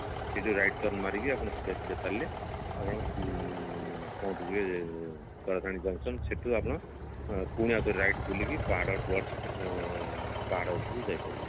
ସେଇଠୁ right turn ମାରିକି ଆପଣ ସିଧା ସିଧା ଚାଲିଲେ ଆପଣ ଉଁ ପହଞ୍ଚି ଯିବେ ତାରାତାରିଣୀ junction ସେଠୁ ଆପଣ ପୁଣି ଆଉଥରେ right ବୁଲିକି ପାହାଡ bus ଉଁ ପାହାଡ ଉପରକୁ ଯାଇ ପାରିବେ